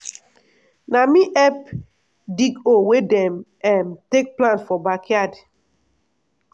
na me help dig hole wey dem um take plant for backyard.